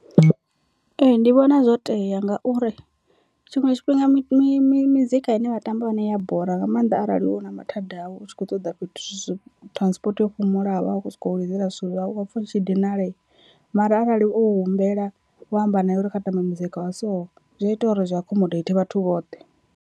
Ee ndi vhona zwo tea ngauri tshiṅwe tshifhinga mi mi mizika ine vha tamba yone i ya bora nga maanḓa arali u na mathada awu u tshi kho ṱoḓa fhethu transport yo fhumulaho, vha vha sokou lidzela zwithu zwavho u a pfha u tshi dinalea mara arali owu humbela wa amba naye uri kha tambe muzika wa so zwi a ita uri zwi accommodate vhathu vhoṱhe.